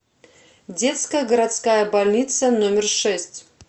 детская городская больница номер шесть